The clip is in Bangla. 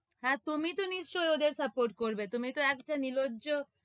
হ্য়াঁ, তুমি তহ নিশ্চই ওদের support করবে তুমি তো একটা নির্লজ্জ,